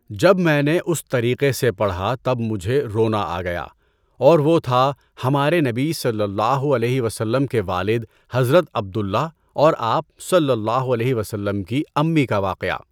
جب میں نے اُس طریقے سے پڑھا تب مجھے رونا آ گیا اور وہ تھا ہمارے نبی صلی اللہ علیہ وسلم کے والد حضرت عبد اللہ اور آپ صلی اللہ علیہ وسلم کی امّی کا واقعہ۔